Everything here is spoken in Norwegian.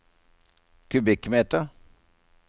kubikkmeter